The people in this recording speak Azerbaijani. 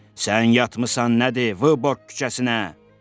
Sən yatmısan nədir, Vıborq küçəsinə!